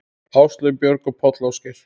Áslaug, Björg og Páll Ásgeir.